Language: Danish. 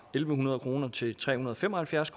hundrede kroner til tre hundrede og fem og halvfjerds